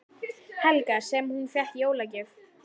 Helga: Sem hún fékk í jólagjöf?